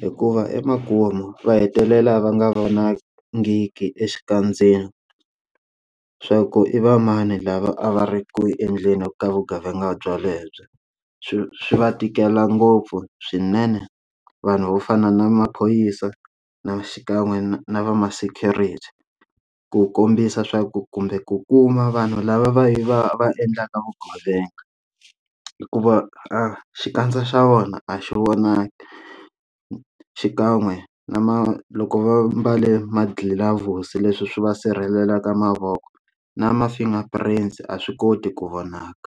hikuva emakumu va hetelela va nga vonangi exikandzeni swa ku i va mani lava a va ri ku endleni ka vugevenga bya lebyo swi swi va tikela ngopfu swinene vanhu vo fana na maphorisa na xikan'we na na va ma security ku kombisa swa ku kumbe ku kuma vanhu lava va va va endlaka vugevenga hikuva a xikandza xa vona a xi vonaki xikan'we na ma loko va mbale ma gloves leswi swi va sirhelela ka mavoko na ma finger print a swi koti ku vonaka.